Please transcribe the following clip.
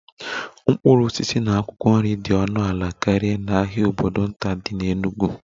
Mkpụrụ osisi na akwụkwọ nri dị ọnụ ala karịa n'ahịa obodo nta dị n'Enugwu